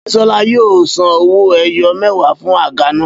Bísọ́lá yóò san owó-ẹyọ mẹ́wàá fún àga naa.